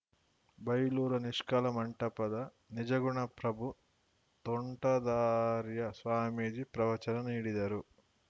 ಬೈಲೂರ ನಿಷ್ಕಲ ಮಂಟಪದ ನಿಜಗುಣ ಪ್ರಭು ತೋಂಟದಾರ‍್ಯ ಸ್ವಾಮೀಜಿ ಪ್ರವಚನ ನೀಡಿದರು